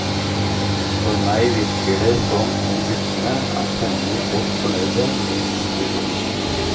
På meg virker det som om guttene er temmelig godt fornøyde med ekspedisjonen.